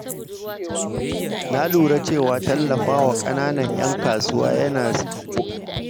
Na lura cewa tallafawa ƙananan ‘yan kasuwa yana sa su bunƙasa su samar da ayyukan yi.